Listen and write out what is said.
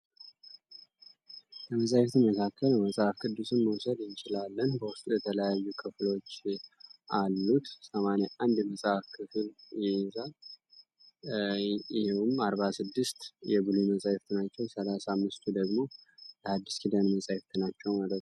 ከመጻሕፍት መካከል መጽሐፍ ቅዱስን መውሰድ እንችላለን። በውስጡ የተለያዩ ክፍሎች አሉት። ሰማንያ አንድ የመጽሐፍ ክፍል ይይዛል። ይኸውም አርባ ስድስት የብሉይ መጻሕፍት ናቸው። ሰላሳ አምስቱ ደግሞ የሐድስ ኪዳን መጻሕፍት ናቸው ማለት ነው።